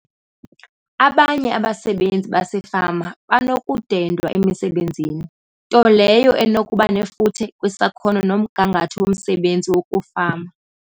Abanye abasebenzi basefama banokudendwa emisebenzini, nto leyo enokuba nefuthe kwisakhono nomgangatho womsebenzi wokufama.